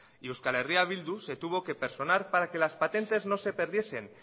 y eh bildu se tuvo que personar para que las patentes no se perdiesen